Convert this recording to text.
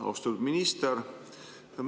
Austatud minister!